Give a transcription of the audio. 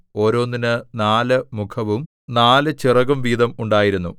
ഓരോന്നിന് നാല് മുഖവും നാല് ചിറകും വീതം ഉണ്ടായിരുന്നു